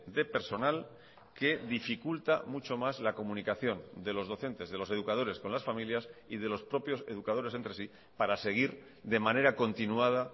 de personal que dificulta mucho más la comunicación de los docentes de los educadores con las familias y de los propios educadores entre sí para seguir de manera continuada